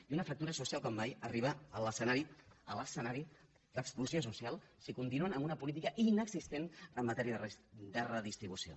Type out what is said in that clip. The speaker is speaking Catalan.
i una fractura social com mai arriba a l’escenari a l’escenari d’explosió social si continuen amb una política inexistent amb matèria de redistribució